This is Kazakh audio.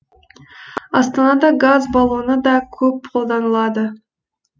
астанада газ баллоны да көп қолданылады